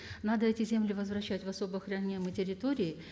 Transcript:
надо эти земли возвращать в особо охраняемые территории